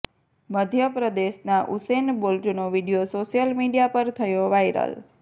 મધ્ય પ્રદેશના ઉસેન બોલ્ટનો વીડિયો સોશિયલ મીડિયા પર થયો વાયરલ